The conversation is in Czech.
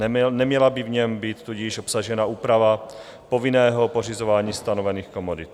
Neměla by v něm tudíž být obsažena úprava povinného pořizování stanovených komodit.